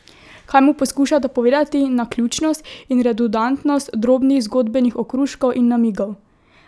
Kaj mu poskušata povedati naključnost in redundantnost drobnih zgodbenih okruškov in namigov?